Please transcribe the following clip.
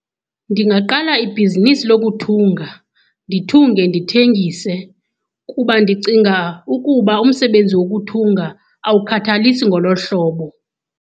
Ndingaqala ibhizinisi lokuthunga, ndithunge ndithengise. Kuba ndicinga ukuba umsebenzi wokuthunga awukhathalisi ngolo hlobo.